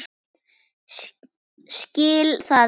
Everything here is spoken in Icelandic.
Skil það ekki.